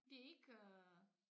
Det ikke øh